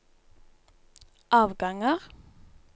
avganger